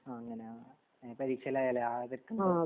അങ്ങനെ ആ പരീക്ഷ എല്ലാ ആയിലെ ഓഗസ്ററ്